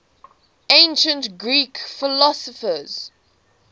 ancient greek philosophers